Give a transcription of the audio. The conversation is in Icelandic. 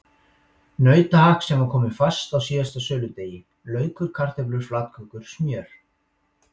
Nautahakk sem var komið fast að síðasta söludegi, laukur, kartöflur, flatkökur, smjör.